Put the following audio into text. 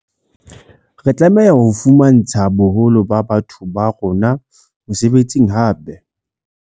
Re tlameha ho fumantsha boholo ba batho ba rona mesebetsi hape.